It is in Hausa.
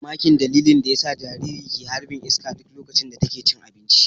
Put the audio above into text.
Ina mamakin dalilin da yasa jaririna ke harɓin iska duk loƙacin da taƙe cin aɓinci.